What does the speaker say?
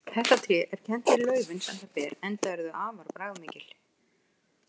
Þetta tré er kennt við laufin sem það ber enda eru þau afar bragðmikil.